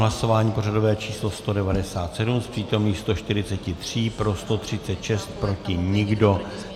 Hlasování pořadové číslo 197, z přítomných 143 pro 136, proti nikdo.